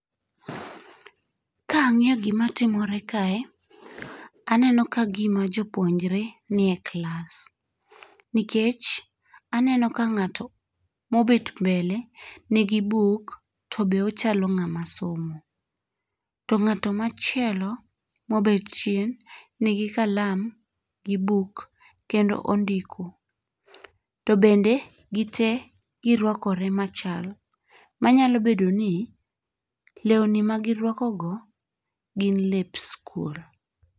Kang'iyo gima timore kae, aneno ka gima jopuonjre nie klas nikech aneno ka ng'at mobet mbele nigi buk tobe ochalo ng'at masomo, to ng'ato machielo mobet chien nigi kalam gi buk kendo ondiko, To bende gite girwakore machal manyalo bedo ni lewni magirwakogo gin lep skul.